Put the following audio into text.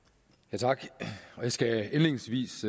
tak jeg skal indledningsvis